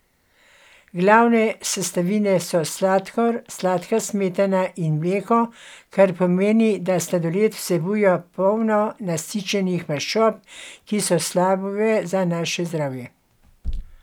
Glavne sestavine so sladkor, sladka smetana in mleko, kar pomeni da sladoled vsebuje polno nasičenih maščob, ki so slabe za naše zdravje.